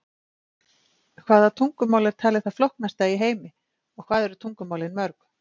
hvaða tungumál er talið það flóknasta í heimi og hvað eru tungumálin mörg